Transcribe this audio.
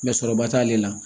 sɔrɔba t'ale la